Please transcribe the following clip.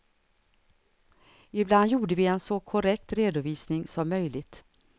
Ibland gjorde vi en så korrekt redovisning som möjligt.